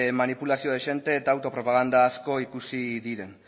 manipulazio dezente eta autopropaganda asko ikusi diren